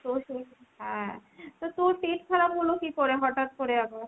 হ্যাঁ তা তোর পেট খারাপ হলো কী করে হঠাৎ করে আবার ?